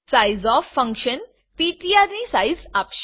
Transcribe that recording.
sizeof function PTR ની size આપશે